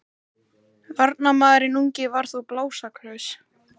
Varnarmaðurinn ungi var þó blásaklaus.